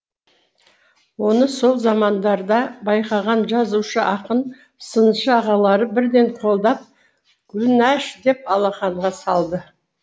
оны сол замандарда байқаған жазушы ақын сыншы ағалары бірден қолдап гүлнәш деп алақанға салды